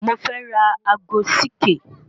Mo fẹ́ ra ago CK